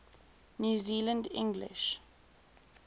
new zealand english